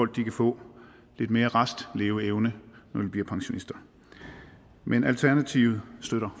de kan få lidt mere restleveevne når de bliver pensionister men alternativet støtter